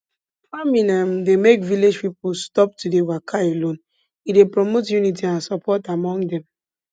farming um dey make village people stop to dey waka alone e dey promote unity and support among dem